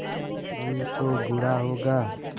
नहीं तो बुरा होगा